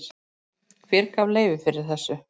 Hver gaf leyfi fyrir þessu?